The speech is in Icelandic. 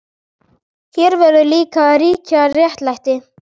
Hér verður líka að ríkja réttlæti.